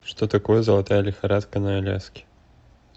что такое золотая лихорадка на аляске